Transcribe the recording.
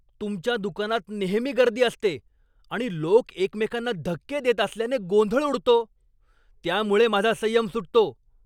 तुमच्या दुकानात नेहमी गर्दी असते आणि लोक एकमेकांना धक्के देत असल्याने गोंधळ उडतो, त्यामुळे माझा संयम सुटतो.